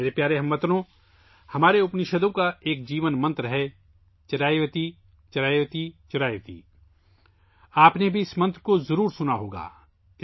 میرے پیارے ہم وطنو، ہمارے اپنشدوں کا ایک جیون منتر ہے 'چریوتیچریوتیچریوتی' آپ نے بھی اس منتر کو ضرور سنا ہوگا